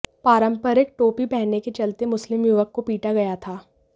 पारंपरिक टोपी पहनने के चलते मुस्लिम युवक को पीटा गया था